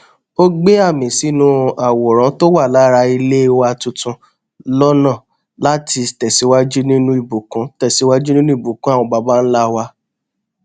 ó gbẹ àmì sínú àwòrán tó wà lára ilé wa tuntun lọnà láti tẹsíwájú nínú ìbùkún tẹsíwájú nínú ìbùkún àwọn baba ńlá wa